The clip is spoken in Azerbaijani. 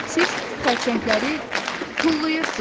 Siz xərçəngləri tullayırsız.